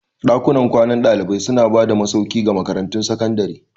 Dakunan kwanan dalibai suna ba da masauki ga makarantun sakandare.